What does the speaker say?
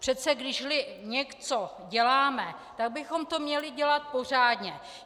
Přece když něco děláme, tak bychom to měli dělat pořádně.